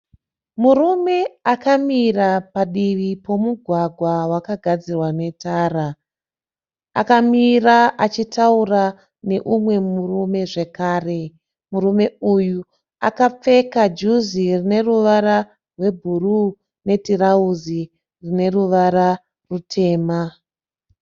Murume akamira padivi pemugwagwa wakagadzirwa netara. Akamira achitaura nemumwe murume zvekare. Murume uyu akapfeka juzi rineruvara rwebhuruu netirauzi rineruva rutema.